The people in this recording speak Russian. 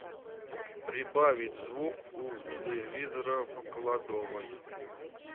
прибавить звук у телевизора в кладовой